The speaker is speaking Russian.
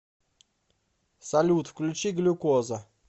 салют включи глюкоза